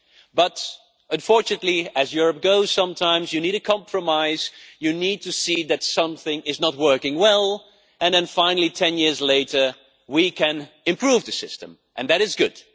But, unfortunately, as happens in Europe sometimes, you need a compromise, you need to see that something is not working well, and then, finally, 10 years later we can improve the system, and that is good.